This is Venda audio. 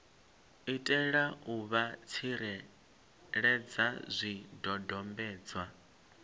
itela u vha tsireledza zwidodombedzwa